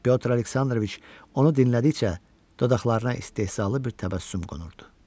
Pyotr Aleksandroviç onu dinlədikcə dodaqlarına istehzalı bir təbəssüm qonurdu.